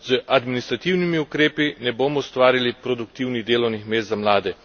Z administrativnimi ukrepi ne bomo ustvarili produktivnih delovnih mest za mlade.